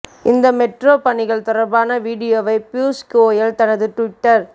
இந்த மெட்ரோ பணிகள் தொடர்பான வீடியோவை பியூஷ் கோயல் தனது டுவிட்டர்